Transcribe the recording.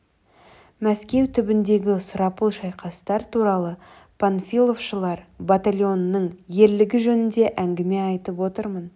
мәскеу түбіндегі сұрапыл шайқастар туралы панфиловшылар батальонының ерлігі жөнінде әңгіме айтып отырмын